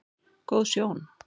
Góð sjón